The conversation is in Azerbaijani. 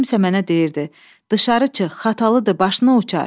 Kimsə mənə deyirdi: "Dışarı çıx, xatalıdır, başın uçar!"